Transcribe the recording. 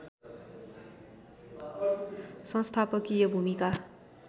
सङ्स्थापकीय भूमिका